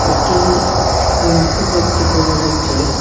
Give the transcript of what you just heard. একটি গম্বুজ দেখতে পাওয়া যাচ্ছে।